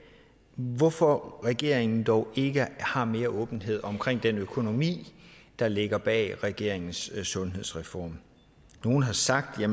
nemlig hvorfor regeringen dog ikke har mere åbenhed omkring den økonomi der ligger bag regeringens sundhedsreform nogle har sagt at